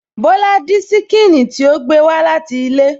Bọ́lá dín ṣíkìnnì tí ó gbé wá láti ilé